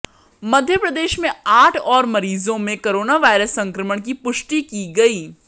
मध्यप्रदेश में आठ और मरीजों में कोरोना वायरस संक्रमण की पुष्टि की गई